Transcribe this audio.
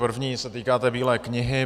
První se týká té Bílé knihy.